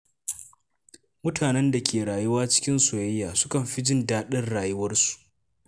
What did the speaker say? Mutanen da ke rayuwa cikin soyayya sukan fi jin daɗin rayuwarsu.